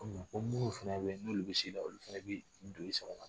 Ko ko munnu fɛnɛ be yen n'olu bi s'i la, olu fɛnɛ bi don